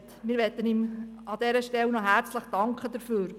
Wir danken ihm an dieser Stelle noch herzlich dafür.